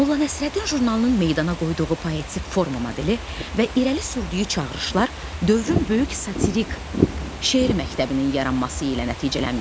Molla Nəsrəddin jurnalının meydana qoyduğu poetik forma modeli və irəli sürdüyü çağırışlar dövrün böyük satirik şeir məktəbinin yaranması ilə nəticələnmişdi.